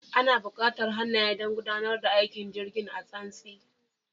Ana bukatar hannaye don gudanar da aikin jirgin a tsantsi